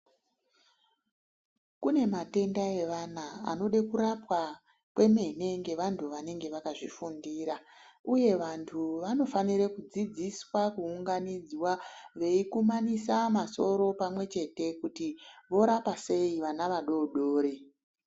Kune matenda evana anode kurapwa kwemene ngevantu vanenge vakazvifundira uye vantu vanofanire kudzidziswa kuunganidzwa veikumanisa masoro pamwe chete kuti vorapa sei vana vadodori .